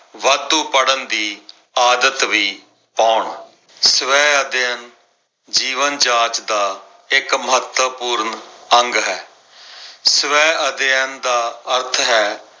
ਵਾਧੂ ਪੜਨ ਦੀ ਆਦਤ ਵੀ ਪਾਉਣ। ਸਵੈ ਅਧਿਐਨ ਜੀਵਨ ਜਾਚ ਦਾ ਇੱਕ ਮਹੱਤਵਪੂਰਨ ਅੰਗ ਹੈ। ਸਵੈ ਅਧਿਐਨ ਦਾ ਅਰਥ ਹੈ